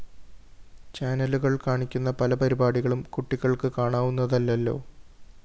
ചാനലുകള്‍ കാണിക്കുന്ന പല പരിപാടികളും കുട്ടികള്‍ക്ക് കാണാവുന്നതല്ലല്ലോ